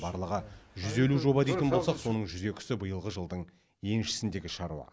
барлығы жүз елу жоба дейтін болсақ соның жүз екісі биылғы жылдың еншісіндегі шаруа